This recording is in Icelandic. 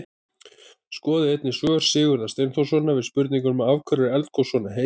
Skoðið einnig svör Sigurðar Steinþórssonar við spurningunum: Af hverju eru eldgos svona heit?